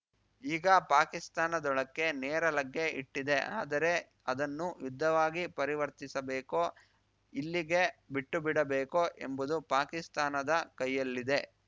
ಈಗ ಪಾಕಿಸ್ತಾನದೊಳಕ್ಕೇ ನೇರ ಲಗ್ಗೆ ಇಟ್ಟಿದೆ ಆದರೆ ಅದನ್ನು ಯುದ್ಧವಾಗಿ ಪರಿವರ್ತಿಸಬೇಕೋ ಇಲ್ಲಿಗೇ ಬಿಟ್ಟುಬಿಡಬೇಕೋ ಎಂಬುದು ಪಾಕಿಸ್ತಾನದ ಕೈಯಲ್ಲಿದೆ